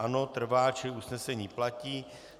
Ano, trvá, čili usnesení platí.